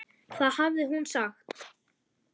Það hafði hún sagt.